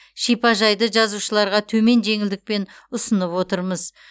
шипажайды жазушыларға төмен жеңілдікпен ұсынып отырмыз